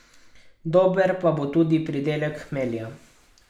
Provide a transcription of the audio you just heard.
Dober pa bo tudi pridelek hmelja.